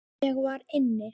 Ég var inni.